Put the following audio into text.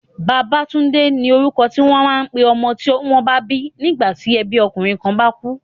Babatunde ni orúkọ ti wọ́n máa ń pé ọmọ tí wọ́n bá bí sígbà tí ẹbí ọkùnrin kan bá kú.